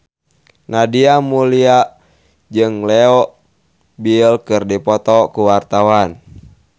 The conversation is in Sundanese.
Nadia Mulya jeung Leo Bill keur dipoto ku wartawan